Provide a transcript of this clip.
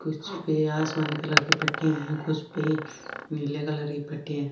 कुछ पे आसमानी कलर की पट्टी है कुछ नीले कलर की पट्टीया है।